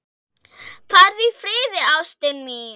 Farðu í friði, ástin mín.